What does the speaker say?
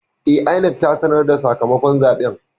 E, INEC ta sanar da sakamakon zaben.